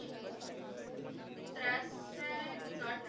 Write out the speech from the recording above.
ਤ੍ਰੈ ਸੈ ਸੱਠ